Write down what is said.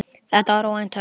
Þetta var óvænt högg.